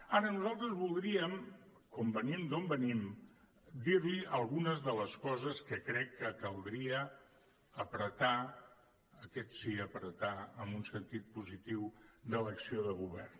ara nosaltres voldríem com venim d’on venim dir li algunes de les coses que crec que caldria apretar aquest sí apretar en un sentit positiu de l’acció de govern